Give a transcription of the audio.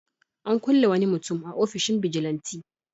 An kulle wani mutum a ofishin bijilanti.